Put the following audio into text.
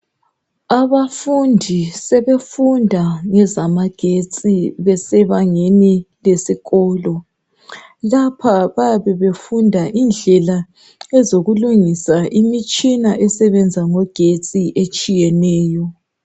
Abafundi sebefunda ngezamagetsi besebangeni lesikolo lapha bayabe befunda indlela ezokulungisa imitshina esebenza ngogetsi etshiyeneyo.